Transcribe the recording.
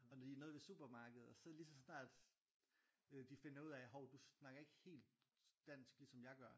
Og når de er nede ved supermarkedet og så lige så snart de øh finder ud af hov du snakker ikke helt dansk ligesom jeg gør